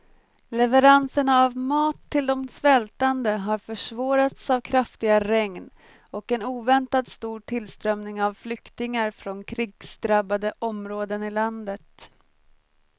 Leveranserna av mat till de svältande har försvårats av kraftiga regn och en oväntat stor tillströmning av flyktingar från krigsdrabbade områden i landet.